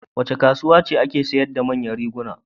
Wace kasuwa ce ke sayar da manyan riguna?